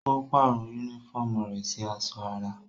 Ó pàrọ̀ yúnífọ̀mù rẹ̀ sì aṣọ ara